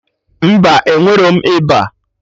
Mba, enwerọm ịba